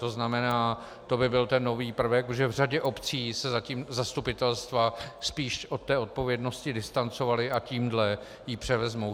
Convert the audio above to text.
To znamená, to by byl ten nový prvek, protože v řadě obcí se zatím zastupitelstva spíš od té odpovědnosti distancovala a tímhle ji převezmou.